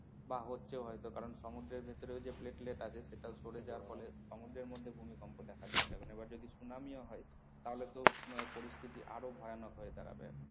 বা হচ্ছেও হয়তো কারণ সমুদ্রের ভেতরেও যে platelet আছে সেটাও সরে যাওয়ার ফলে সমুদ্রের মধ্যে ভূমিকম্প দেখা দিচ্ছে এখন এবার যদি সুনামিও হয়। তাহলে তো আহ পরিস্থিতি আরো ভয়ানক হয়ে দাঁড়াবে।